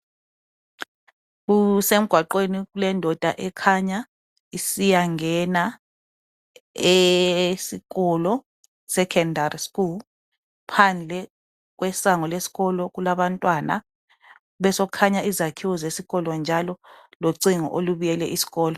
Kusemgwaqweni kulendoda ekhanya isiyangena esikolo sekhondari sikulu phandle kwesango lesikolo kulabantwana bese kukhanya izakhiwo zesikolo njalo locingo olubiyele isikolo.